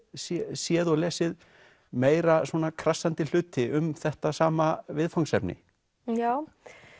séð og lesið meira krassandi hluti um þetta sama viðfangsefni já